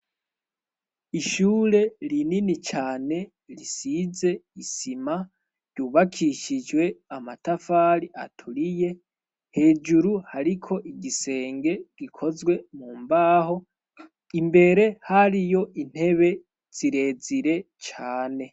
Ishure rinini cane risize isima, ryubakishijwe amatafari aturiye, hejuru hariko igisenge gikozwe mu mbaho, imbere hariyo intebe zirezire cane.